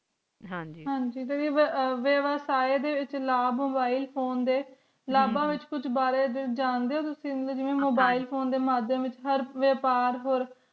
ਹਨ ਗ ਬੇਵਸੈਡ ਲਾਵ ਹੋਂਦੇ ਐਸ mobile phone ਡੇ ਇੰਨਾਂ ਲਾਬਾਨ ਬਾਰੇ ਕੁਝ ਜਾਂਦਾ ਡੇ ਓ ਤੁਸੀਂ ਜਿਵੈਂ mobile phone ਡੇ ਸਾਡੇ ਵਿਚ ਹਰ ਵਿਓਪਾਰ